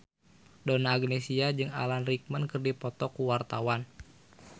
Donna Agnesia jeung Alan Rickman keur dipoto ku wartawan